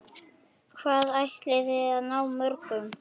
Hvað ætliði að ná mörgum?